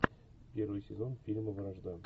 первый сезон фильма вражда